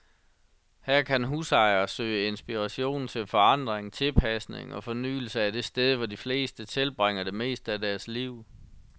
Her kan husejere søge inspiration til forandring, tilpasning og fornyelse af det sted, hvor de fleste tilbringer det meste af deres liv.